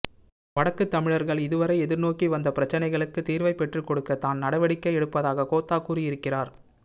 வடக்குத்தமிழர்கள் இதுவரை எதிர்நோக்கி வந்த பிரச்சனைகளுக்கு தீர்வை பெற்றுக்கொடுக்க தான் நடவடிக்கை எடுப்பதாக கோத்தா கூறியிருக்கிறார்